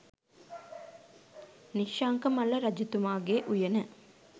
නිශ්ශංකමල්ල රජතුමාගේ උයන